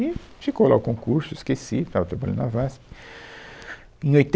E ficou lá o concurso, esqueci, estava trabalhando na VASP, em